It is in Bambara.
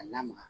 A lamaga